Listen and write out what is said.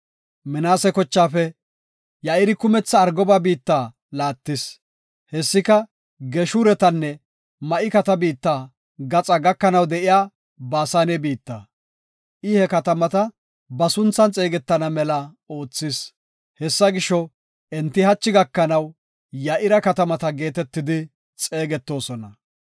Minaase kochaafe Ya7iri kumetha Argoba biitta laattis; hessika Geeshuretanne Ma7ikata biitta gaxaa gakanaw de7iya Baasane biitta. I he katamata ba sunthan xeegetana mela oothis; hessa gisho, enti hachi gakanaw, Ya7ira katamata geetetidi xeegetoosona.)